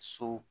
So